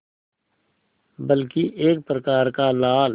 बल्कि एक प्रकार का लाल